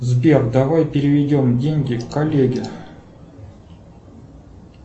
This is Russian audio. сбер давай переведем деньги коллеге